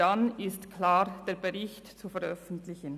Dann ist der Bericht aber klar zu veröffentlichen.